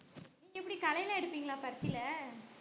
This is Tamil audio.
நீங்க எப்படி களைலாம் எடுப்பீங்களா பருத்தில